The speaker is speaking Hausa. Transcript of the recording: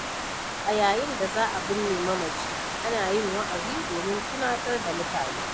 A yayin da za a binne mamaci, ana yin wa'azi domin tunatar da mutane.